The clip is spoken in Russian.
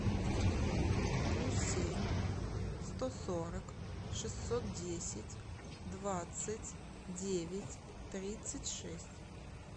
плюс семь сто сорок шестьсот десять двадцать девять тридцать шесть